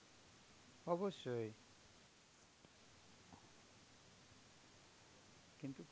অবশ্যই. কিন্তু